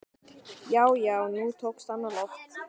Já, já, nú tókst hann á loft!